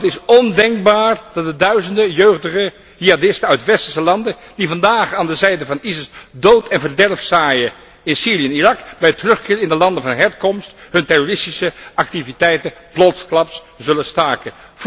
Want het is ondenkbaar dat de duizenden jeugdige jihadisten uit westerse landen die vandaag aan de zijde van ISIS dood en verderf zaaien in Syrië en Irak, bij terugkeer in de landen van herkomst hun terroristische activiteiten plotsklaps zullen staken.